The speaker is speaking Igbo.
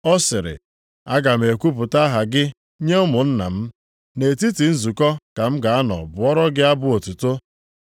Ọ sịrị, “Aga m ekwupụta aha gị nye ụmụnna m, nʼetiti nzukọ ka m ga-anọ bụọrọ gị abụ otuto.” + 2:12 \+xt Abụ 22:22\+xt*